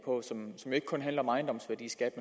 som jo kun handler om ejendomsværdiskat